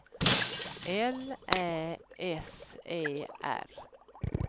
L Ä S E R